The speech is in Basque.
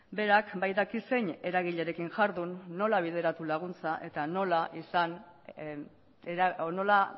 berak badaki zein eragilerekin jardun nola bideratu laguntza eta nola